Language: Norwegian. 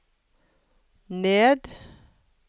ned